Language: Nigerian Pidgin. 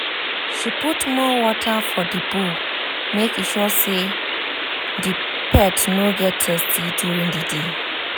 she put more water for the bowl make sure say the pet no go thirsty during the day